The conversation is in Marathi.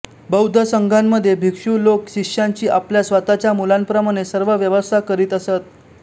बौद्ध संघामध्ये भिक्षु लोक शिष्यांची आपल्या स्वतःच्या मुलांप्रमाणे सर्व व्यवस्था करीत असत